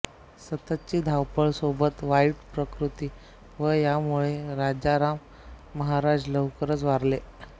सततची धावपळ सोबत वाईट प्रकृती व यामुळे राजाराम महाराज लवकरच वारले